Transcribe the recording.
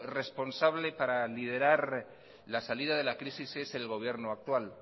responsable para liderar la salida de la crisis es el gobierno actual